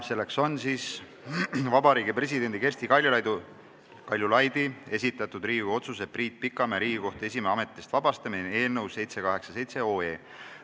See on Vabariigi Presidendi Kersti Kaljulaidi esitatud Riigikogu otsuse "Priit Pikamäe Riigikohtu esimehe ametist vabastamine" eelnõu 787.